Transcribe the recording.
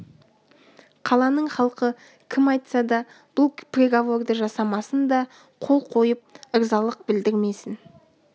қаланың халқы кім айтса да бұл приговорды жасамасын да қол қойып ырзалық білдірмесін